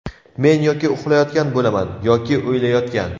Men yoki uxlayotgan bo‘laman, yoki o‘ylayotgan.